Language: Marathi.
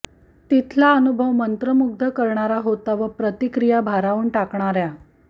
तिथला अनुभव मंत्रमुग्ध करणारा होता व प्रतिक्रिया भारावून टाकणाऱया